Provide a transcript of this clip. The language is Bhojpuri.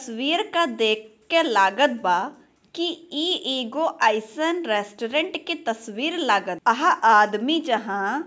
वीर के देख के लागत बा की इ एगो आईफ्रंड रेस्टोरेंट के तस्वीर लागत अहा आदमी जहां --